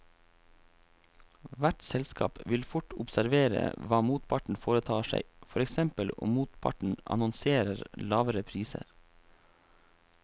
Hvert selskap vil fort observere hva motparten foretar seg, for eksempel om motparten annonserer lavere priser.